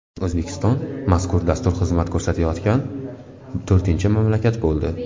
O‘zbekiston mazkur dastur xizmat ko‘rsatayotgan to‘rtinchi mamlakat bo‘ldi.